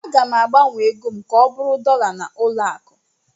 Aga m agbanwe ego m ka ọ bụrụ dọla na ụlọ akụ